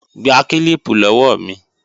Gba kílíìpù lọ́wọ́ mi!